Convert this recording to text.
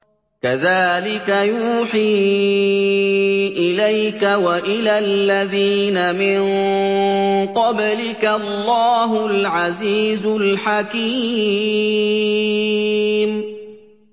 كَذَٰلِكَ يُوحِي إِلَيْكَ وَإِلَى الَّذِينَ مِن قَبْلِكَ اللَّهُ الْعَزِيزُ الْحَكِيمُ